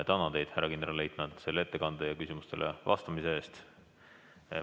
Tänan teid, härra kindralleitnant, ettekande ja küsimustele vastamise eest!